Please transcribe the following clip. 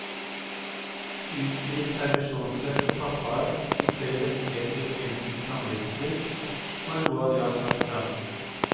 Utvidet permisjonsrett for pappaer og flere rettigheter i forbindelse med samlivsbrudd, var noe av det han trakk fram.